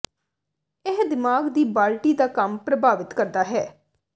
ਇਹ ਦਿਮਾਗ ਦੀ ਬਾਲਟੀ ਦਾ ਕੰਮ ਪ੍ਰਭਾਵਿਤ ਕਰਦਾ ਹੈ